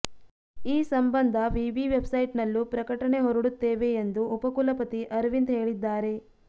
ಈ ಸಂಬಂಧ ವಿವಿ ವೆಬ್ಸೈಟ್ನಲ್ಲೂ ಪ್ರಕಟಣೆ ಹೊರಡುತ್ತೇವೆ ಎಂದು ಉಪಕುಲಪತಿ ಅರವಿಂದ್ ಹೇಳಿದ್ದಾರೆ